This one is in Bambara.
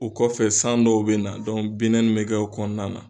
O kɔfɛ san dɔw bɛ na bɛ kɛ o kɔnɔna na